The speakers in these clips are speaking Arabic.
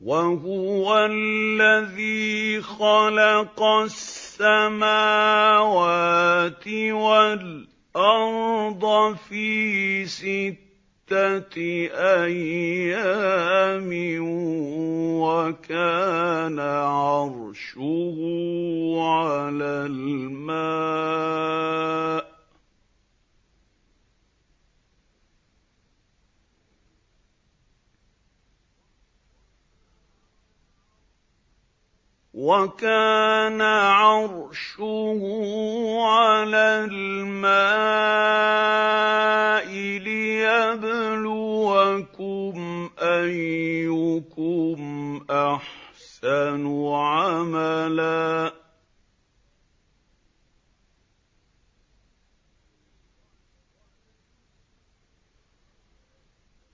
وَهُوَ الَّذِي خَلَقَ السَّمَاوَاتِ وَالْأَرْضَ فِي سِتَّةِ أَيَّامٍ وَكَانَ عَرْشُهُ عَلَى الْمَاءِ لِيَبْلُوَكُمْ أَيُّكُمْ أَحْسَنُ عَمَلًا ۗ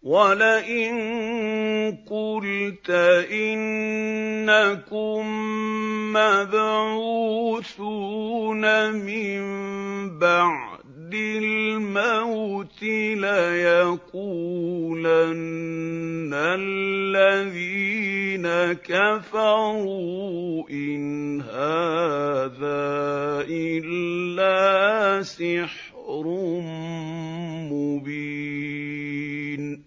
وَلَئِن قُلْتَ إِنَّكُم مَّبْعُوثُونَ مِن بَعْدِ الْمَوْتِ لَيَقُولَنَّ الَّذِينَ كَفَرُوا إِنْ هَٰذَا إِلَّا سِحْرٌ مُّبِينٌ